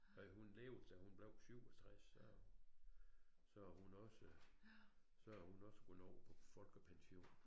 Nej hun levede til hun blev 67 så så hun også så hun også kunne nå på folkepension